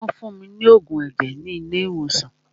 Wọ́n fún mí ní oògùn ẹ̀jẹ̀ ni ilé ìwòsàn.